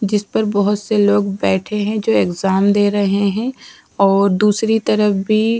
जिसपे बोहोत से लोग बैठे है जो एक्ज़ाम दे रहे है और दूसरी तरफ भी --